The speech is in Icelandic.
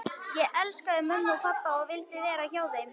Ég elskaði mömmu og pabba og vildi vera hjá þeim.